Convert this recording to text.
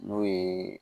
N'o ye